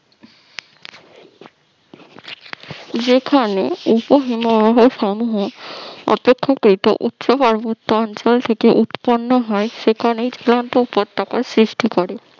যেখানে উপ হিমবাহ সমূহ অপেক্ষাকৃত উচ্চ পার্বত্য অঞ্চল থেকে উৎপন্ন হয় সেখানে ঝুলন্ত উপত্যকা সৃষ্টি করে